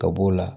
Ka b'o la